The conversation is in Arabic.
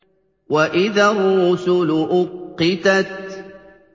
وَإِذَا الرُّسُلُ أُقِّتَتْ